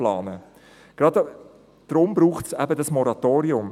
Gerade deshalb braucht es eben das Moratorium.